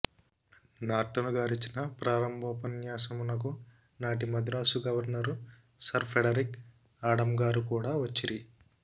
నార్టనుగారిచ్చిన ప్రారంభోపన్యాసమునకు నాటి Madras governor sir Frederick ఆడంగారు కూడ వచ్చిరి